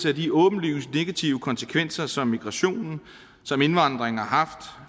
af de åbenlyst negative konsekvenser som migrationen som indvandringen har haft